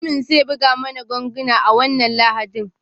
Mutumin zai buga mana ganguna a wannan Lahadin.